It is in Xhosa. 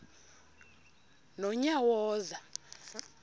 nonyawoza